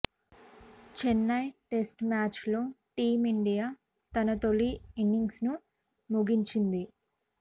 Chennai test match లో team India తన తోలి ఇన్నింగ్స్ ను ముగించింది